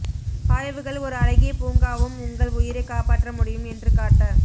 ஆய்வுகள் ஒரு அழகிய பூங்காவும் உங்கள் உயிரை காப்பாற்ற முடியும் என்று காட்ட